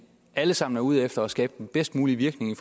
alle sammen er ude efter at skabe den bedst mulige virkning i